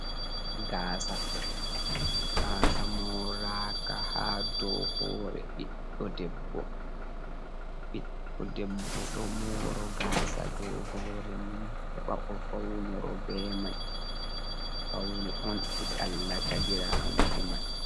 Gaasa. Gaasa moraka ha dow hore ɓiɗɗo debbo. Ɓiɗɗo debbo ɗo moro gaasa dow hore mum heɓa o faunoro be mai, faune on eɗallata giramo e mai.